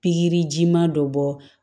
Pikiriji ma dɔ bɔ